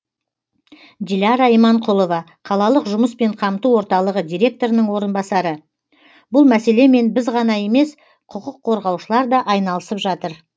диляра иманқұлова қалалық жұмыспен қамту орталығы директорының орынбасары бұл мәселемен біз ғана емес құқық қорғаушылар да айналысып жатыр